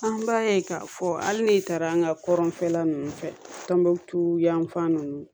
An b'a ye k'a fɔ hali ni taara an ka kɔrɔnfɛla ninnu fɛ tɔnbukutu yan fan ninnu